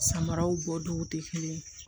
Samaraw bɔ dɔw tɛ kelen ye